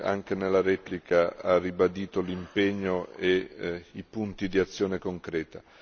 anche nella replica, ha ribadito l'impegno e i punti di azione concreta.